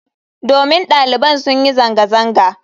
Domin daliban sun yi zanga-zanga.